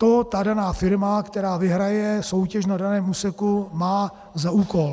To ta daná firma, která vyhraje soutěž na daném úseku, má za úkol.